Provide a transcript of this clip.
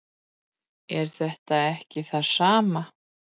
er þetta ekki það sama